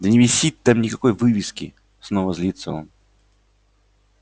да не висит там никакой вывески снова злится он